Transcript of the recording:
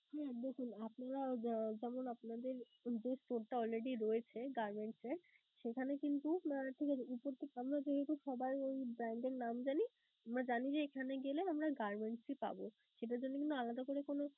হ্যাঁ দেখুন আপনারা যেমন আপনাদের যে store টা already রয়েছে garments এর সেখানে কিন্তু ঠিক আছে উপর থেকে আমরা যেহেতু সবাই ওই brand এর নাম জানি, আমরা জানি যে এখানে গেলে আমরা garments ই পাবো. সেটার জন্য কিন্তু আলাদা করে কোন